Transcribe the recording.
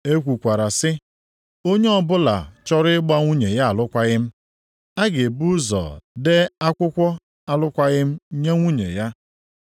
“E kwukwara sị, ‘Onye ọbụla chọrọ ịgbara nwunye ya alụkwaghị m, ga-ebu ụzọ dee akwụkwọ alụkwaghị m nye nwunye ya.’ + 5:31 \+xt Dit 24:1\+xt*